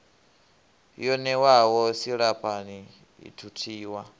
yo ṋewaho silahapani i thuthiwa